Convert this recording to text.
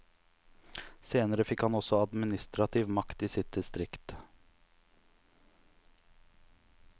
Senere fikk han også administrativ makt i sitt distrikt.